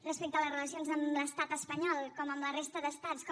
respecte a les relacions amb l’estat espanyol com amb la resta d’estats com